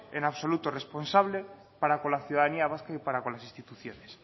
en absoluto responsable para con la ciudadanía vasca y para con las instituciones